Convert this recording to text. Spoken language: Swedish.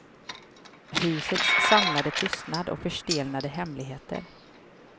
Husets samlade tystnad och förstelnade hemligheter.